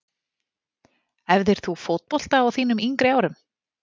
Æfðir þú fótbolta á þínum yngri árum?